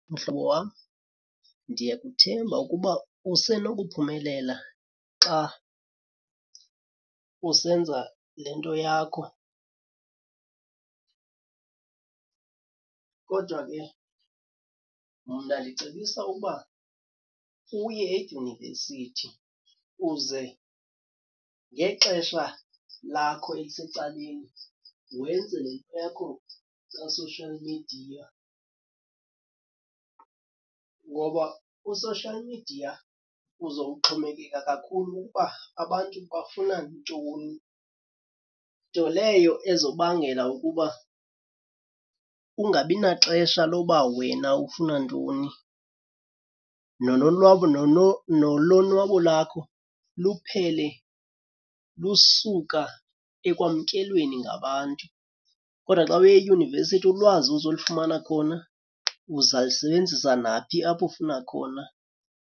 Mhlobo wam, ndiyakuthemba ukuba usenokuphumelela xa usenza le nto yakho. Kodwa ke mna ndicebisa ukuba uye edyunivesithi uze ngexesha lakho elisecaleni, wenze le nto yakho ka-social media. Ngoba u-social media uzowuxhomekeka kakhulu ukuba abantu bafuna ntoni, nto leyo ezobangela ukuba ungabi naxesha loba wena ufuna ntoni, nolonwabo nolonwabo lakho luphele lusuka ekwamkelweni ngabantu. Kodwa xa uye eyunivesithi ulwazi ozolufumana khona uza lusebenzisa naphi apho ufuna khona.